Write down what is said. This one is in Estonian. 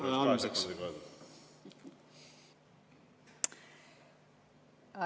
Ma nüüd proovisin, kuidas seda kahe sekundiga öelda on.